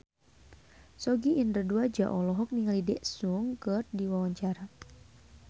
Sogi Indra Duaja olohok ningali Daesung keur diwawancara